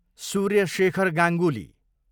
Surya Shekhar Ganguly